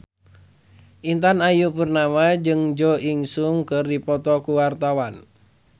Intan Ayu Purnama jeung Jo In Sung keur dipoto ku wartawan